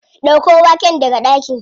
Ɗauko waken daga ɗaki.